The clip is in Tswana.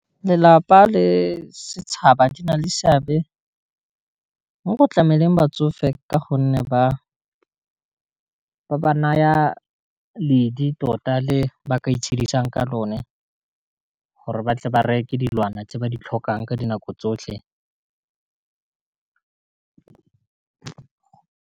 Lelapa le setšhaba di na le seabe mo go tlameleng batsofe ka gonne ba naya ledi tota le ba ka itshedisa ka lone gore ba tle ba reke dilwana tse ba di tlhokang ka dinako tsotlhe.